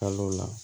Kalo la